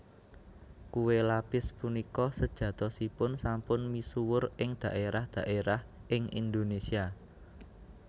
Kué lapis punika sejatosipun sampun misuwur ing dhaérah dhaérah ing Indonésia